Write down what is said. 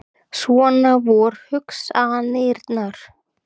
Svona vor hugsanirnar.